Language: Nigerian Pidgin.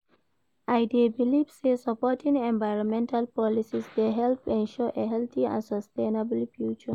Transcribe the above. I dey believe say supporting environmental policies dey help ensure a healthy and sustainable future.